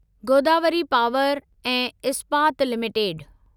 Godavari power ऐं Ispat limited